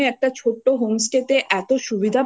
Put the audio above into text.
এতো সুবিধা একটা যখন ছোট্ট গ্রামে একটা ছোট্ট home